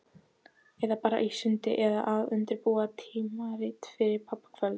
Eða bara í sundi- eða að undirbúa tímarit fyrir pabbakvöld.